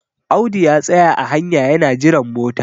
Audu ya tsaya a hanya yana jiran mota